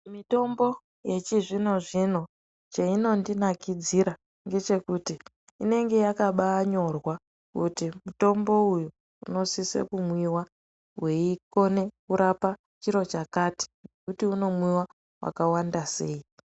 Mitombo yechizvino zvino cheyinondinaKidzira ndechekuti inenge yakanyorwa kuti mitombo iyi inosisa kumwiwa weikona kurapa chiro chakati Unomwiwa yakawanda sei.